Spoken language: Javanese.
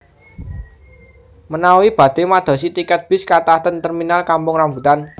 Menawi badhe madosi tiket bis kathah ten terminal Kampung Rambutan